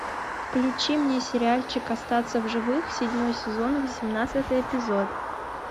включи мне сериальчик остаться в живых седьмой сезон восемнадцатый эпизод